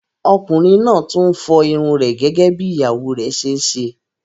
Ọkùnrin náà tún ń fọ́ irun rẹ̀ gẹ́gẹ́ bí ìyàwó rẹ̀ ṣe ń ṣe.